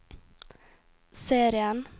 serien